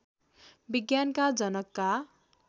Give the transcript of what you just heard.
विज्ञानका जनकका